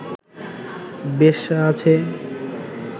বেশ্যা আছে